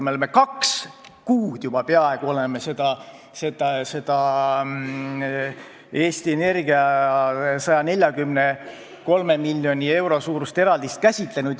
Me oleme peaaegu kaks kuud seda Eesti Energia 143 miljoni euro suurust eraldist käsitlenud.